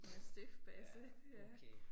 Mastiff basse ja